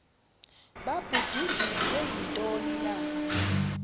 babudunjiswe yintoni na